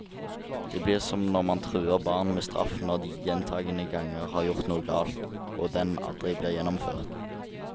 Det blir som når man truer barn med straff når de gjentagende ganger har gjort noe galt, og den aldri blir gjennomført.